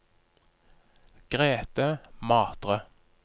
Grete Matre